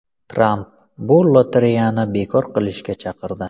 Tramp bu lotereyani bekor qilishga chaqirdi.